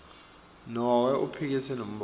nobe uphikise lombono